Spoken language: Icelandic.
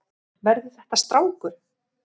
Verður þetta strákur?